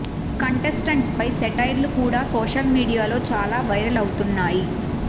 contestants పై satires కూడా social మీడియాలో చాలా వైరల్ అవుతున్నాయి